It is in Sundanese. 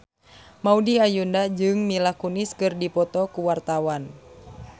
Maudy Ayunda jeung Mila Kunis keur dipoto ku wartawan